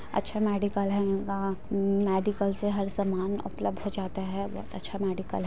अच्छा मेडिकल है या यहाँ का अम्म मेडिकल से हर सामान उपलब्ध हो जाता है बहुत अच्छा मेडिकल है।